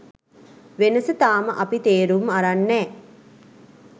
වෙනස තාම අපි තේරුම් අරන් නෑ.